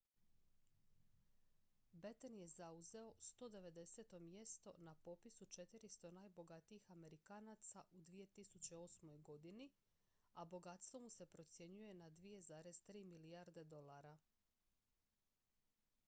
batten je zauzeo 190. mjesto na popisu 400 najbogatijih amerikanaca u 2008. godini a bogatstvo mu se procjenjuje na 2,3 milijarde dolara